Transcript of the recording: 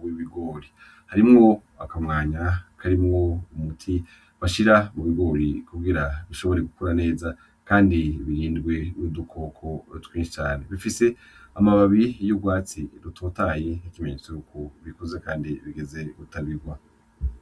w'ibigori harimwo akamwanya karimwo umuti bashira mu bigori kugira bishobore gukura neza kandi birindwe n'udukoko twinshi cane bifise amababi y'ugwatsi rutotahaye nk'ikimenyetso yuko bikuze kandi bigeze gutabigwa.